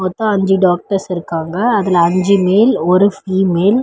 மொத்தொ அஞ்சு டாக்டர்ஸ் இருக்காங்க அதுல அஞ்சு மேல் ஒரு ஃபீமேல் .